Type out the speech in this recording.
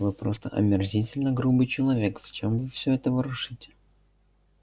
вы просто омерзительно грубый человек зачем вы всё это ворошите